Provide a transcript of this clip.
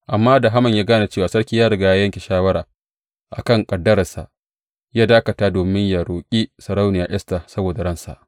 Amma da Haman ya gane cewa sarki ya riga ya yanke shawara a kan ƙaddararsa, ya dakata domin yă roƙi sarauniya Esta saboda ransa.